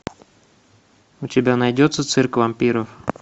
у тебя найдется цирк вампиров